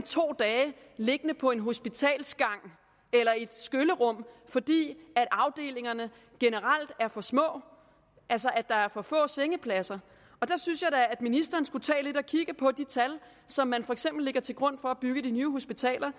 to dage liggende på en hospitalsgang eller i et skyllerum fordi afdelingerne generelt er for små altså at der er for få sengepladser der synes jeg da at ministeren skulle tage og kigge lidt på de tal som man for eksempel lægger til grund for at bygge de nye hospitaler